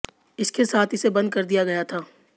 इसके साथ इसे बंद कर दिया गया था